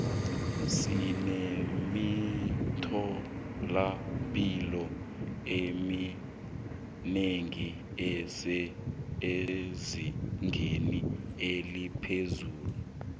sinemithola mpilo eminengi esezingeni eliphezulu